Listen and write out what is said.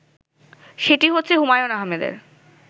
সেটি হচ্ছে হুমায়ূন আহমেদের